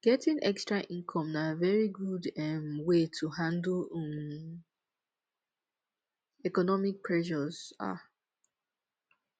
getting extra income na very good um wey to handle um economic pressures um